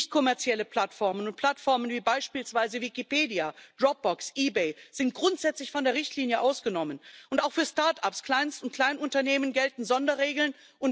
Nicht kommerzielle Plattformen und Plattformen wie beispielsweise Wikipedia, Dropbox, eBay sind grundsätzlich von der Richtlinie ausgenommen, und auch für Start ups, Kleinst und Kleinunternehmen gelten Sonderregeln.